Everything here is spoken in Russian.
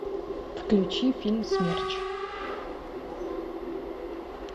включи фильм смерч